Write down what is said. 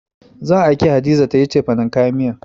Zan aike Hadiza ta yi cefanen kayan miya.